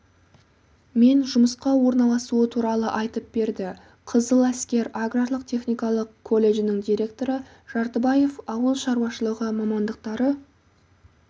мен жұмысқа орналасуы туралы айтып берді қызыл әскер аграрлық-техникалық колледжінің директоры жартыбаев ауыл шаруашылығы мамандықтары